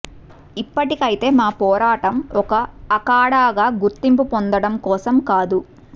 ఇప్పటికైతే మా పోరాటం ఒక అఖాడాగా గుర్తింపు పొందటం కోసం కాదు